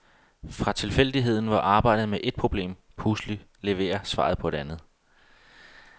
Fra tilfældigheden, hvor arbejdet med et problem pludselig leverer svaret på et andet.